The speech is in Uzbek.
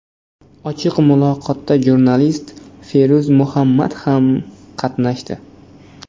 Ochiq muloqotda jurnalist Feruz Muhammad ham qatnashdi.